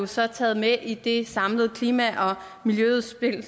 så taget med i det samlede klima og miljøudspil